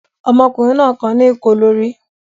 Ọmọkùnrin náà kan ní ìkó lórí?